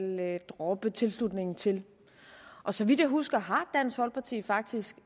droppe tilslutningen til og så vidt jeg husker har dansk folkeparti faktisk